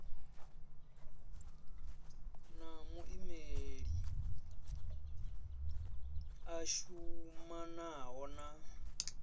na muimeli a shumanaho na